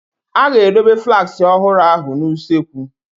A ga-edobe flaaski ọhụrụ ahụ n'usekwu.